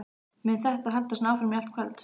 Mun þetta halda svona áfram í allt kvöld?